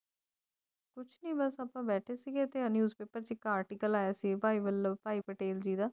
ਸਿਮਰਨ ਸਭ ਤੋਂ ਬੈਠੇ ਸੀ ਅਤੇ ਹਾਲ ਹੀ newspaper article ਹੋਇਆ ਸੀ